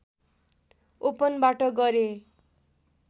ओपनबाट गरे